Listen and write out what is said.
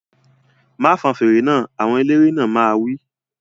Má fọn fèrè náà! Àwọn eléré náà máa wí